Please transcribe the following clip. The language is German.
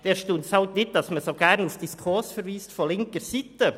So erstaunt es nicht, wenn von linker Seite so gerne auf die SKOS verwiesen wird.